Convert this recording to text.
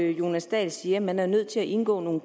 jonas dahl siger at man er nødt til at indgå nogle